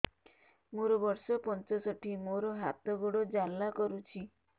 ମୋର ବର୍ଷ ପଞ୍ଚଷଠି ମୋର ହାତ ଗୋଡ଼ ଜାଲା କରୁଛି